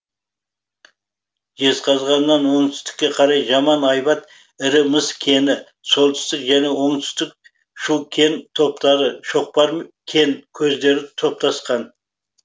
жезқазғаннан оңтүстікке қарай жаман айбат ірі мыс кені солтүстік және оңтүстік шу кен топтары шоқпар кен көздері топтасқан